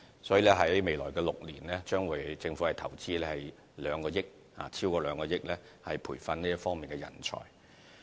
所以，在未來6年，政府將會投資超過2億元，以培訓這方面的人才。